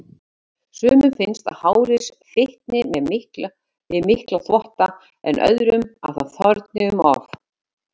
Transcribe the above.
Sumum finnst að hárið fitni við mikla þvotta, en öðrum að það þorni um of.